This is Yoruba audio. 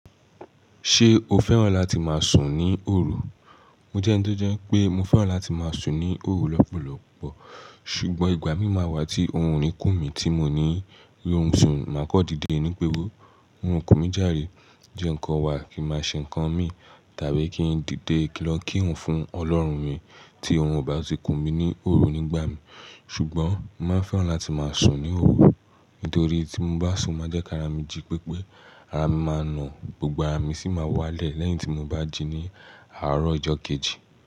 Ṣé o fẹ́ràn láti máa sùn ní òru? Mo jẹ́n to jẹ́ pé mo fẹ́ràn láti máa sùn ní òru lọ́pọ̀lọ́pọ̀. Ṣùgbọ́n ìgbà mí máa wà tí òòrùn rí kùn mí tí mo ní rí orun sùn, màá kọ́ dìde inú péwọ́. Orun o kùn mí járe, je ǹkọ̀ wá kì má ṣe ǹkan mi tàbí kí n dìde lọ kírun fún ọlọ́run mi tí ohun ò bá ti kùn mí ní òru nígbà mí. Ṣùgbọ́n, mó máa fẹ́ràn láti máa sùn ní òru nítorí tí mo bá sùn máa jẹ́ kí ara mi jí pépé, ara mi máa nà, gbogbo ara mi sì máa wálẹ̀ lẹ́yìn tí mo bá jí ní àárọ̀ ọjọ́ kejì.